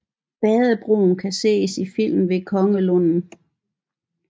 Badebroen kan ses i filmen Ved Kongelunden